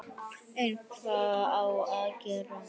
En hvað á að gera?